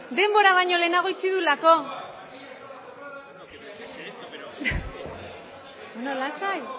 denbora baino lehenago itxi duelako lasai